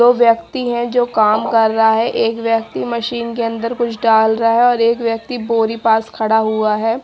दो व्यक्ति हैं जो काम कर रहा है एक व्यक्ति मशीन के अंदर कुछ डाल रहा है और एक व्यक्ति बोरी पास खड़ा हुआ है।